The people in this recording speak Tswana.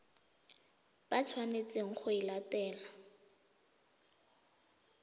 ba tshwanetseng go e latela